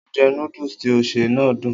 Oúnjẹ noodle tí ó ṣè náà dùn